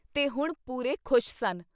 ਤੇ ਹੁਣ ਪੂਰੇ ਖੁਸ਼ ਸਨ।